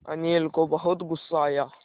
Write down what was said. अनिल को बहुत गु़स्सा आया